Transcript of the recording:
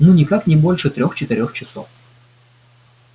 ну никак не больше трех-четырех часов